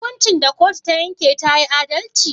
Hukuncin da kotu ta yanke tayi adalci?